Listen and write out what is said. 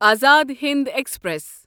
Azad Hind express